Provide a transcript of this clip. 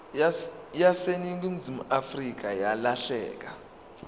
yaseningizimu afrika yalahleka